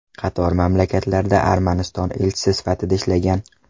Qator mamlakatlarda Armaniston elchisi sifatida ishlagan.